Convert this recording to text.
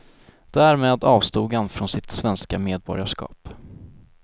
Därmed avstod han från sitt svenska medborgarskap.